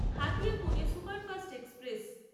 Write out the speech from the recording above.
Hatiya Pune superfast express